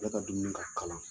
Ale ka dumuni ka kalan.